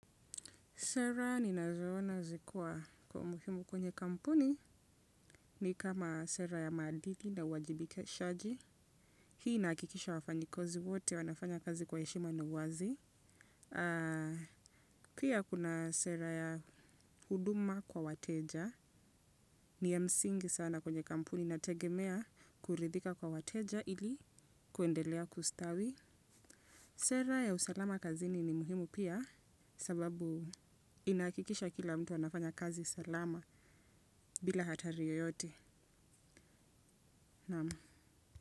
Sera ni nazoona zikuwa kwa umuhimu kwenye kampuni ni kama sera ya madili na uwajibike shaji. Hii inakikisha wafanyikazi wote wanafanya kazi kwa eshima na uwazi. Pia kuna sera ya huduma kwa wateja. Ni ya msingi sana kwenye kampuni na tegemea kuridhika kwa wateja ili kuendelea kustawi. Sera ya usalama kazini ni muhimu pia sababu inakikisha kila mtu anafanya kazi salama. Bila hatariyo yote. Naam.